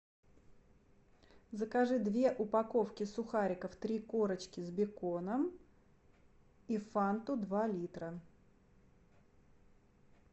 закажи две упаковки сухариков три корочки с беконом и фанту два литра